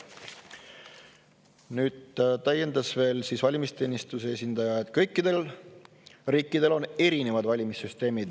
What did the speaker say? Nüüd täiendas veel valimisteenistuse esindaja, et kõikidel riikidel on erinevad valimissüsteemid.